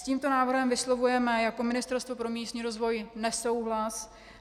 S tímto návrhem vyslovujeme jako Ministerstvo pro místní rozvoj nesouhlas.